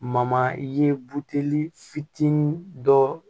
ye buteli fitinin dɔ